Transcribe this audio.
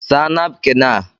Saa napkin a!!